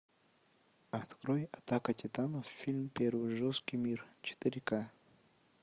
открой атака титанов фильм первый жесткий мир четыре к